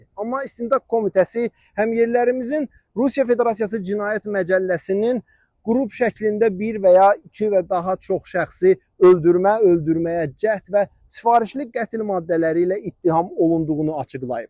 Amma İstintaq Komitəsi həmyerlilərimizin Rusiya Federasiyası Cinayət Məcəlləsinin qrup şəklində bir və ya iki və daha çox şəxsi öldürmə, öldürməyə cəhd və sifarişli qətl maddələri ilə ittiham olunduğunu açıqlayıb.